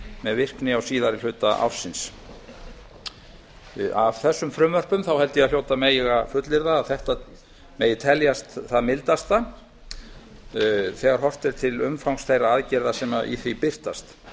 með virkni á síðari hluta ársins af þessum frumvörpum held ég að hljóti mega fullyrða að þetta megi teljast það mildasta þegar horft er til umfangs þeirra aðgerða sem í því birtast